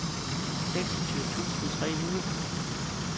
seksogtyve tusind tre hundrede